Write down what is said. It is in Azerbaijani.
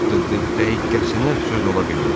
Dəqiqəsinə söz ola bilməz.